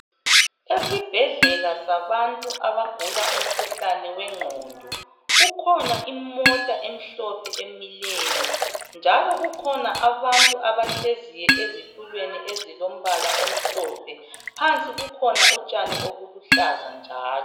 Esibhedlela sabantu abagula umkhuhlane wengqondo kukhona imota emhlophe emileyo, njalo kukhona abantu abahleziyo ezitulweni ezilombala omhlophe, phansi kukhona utshani obuluhlaza njalo.